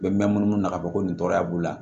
N bɛ munumunu ka bɔ ko nin tɔɔrɔya b'u la